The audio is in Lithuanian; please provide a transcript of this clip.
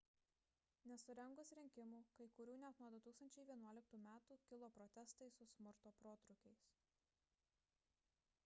nesurengus rinkimų kai kurių net nuo 2011 metų kilo protestai su smurto protrūkiais